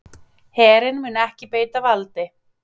Herinn mun ekki beita valdi